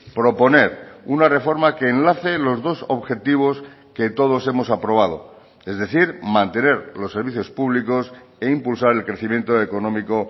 proponer una reforma que enlace los dos objetivos que todos hemos aprobado es decir mantener los servicios públicos e impulsar el crecimiento económico